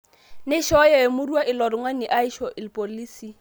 Neishooyo emurua ilo tung'ani aisho irpolisi